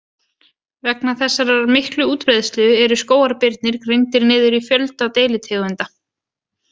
Vegna þessarar miklu útbreiðslu eru skógarbirnir greindir niður í fjölda deilitegunda.